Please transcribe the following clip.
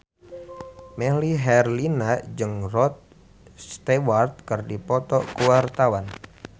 Melly Herlina jeung Rod Stewart keur dipoto ku wartawan